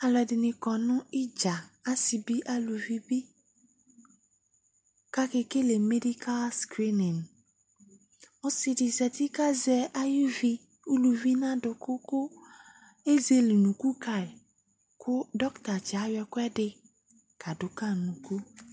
Alʋɛdɩnɩ kɔ nʋ ɩdza, asɩ bɩ, aluvi bɩ kʋ akekele medikal skrimin Ɔsɩ dɩ zati kʋ azɛ ayuvi uluvi nʋ adʋkʋ kʋ ezele unuku ka yɩ kʋ dɔktatsɩ yɛ ayɔ ɛkʋɛdɩ kadʋ ka yɩ nʋ unuku